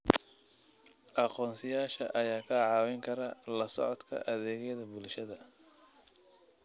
Aqoonsiyaasha ayaa kaa caawin kara la socodka adeegyada bulshada.